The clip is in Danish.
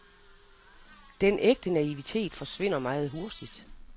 Den ægte naivitet forsvinder meget hurtigt.